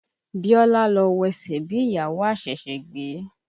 Bíọ́lá ló wesẹ̀ bí ìyàwó aṣẹ̀ṣẹ̀ gbé.